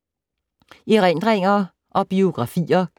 Erindringer og biografier